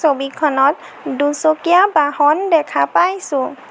ছবিখনত দুচকীয়া বাহন দেখা পাইছোঁ।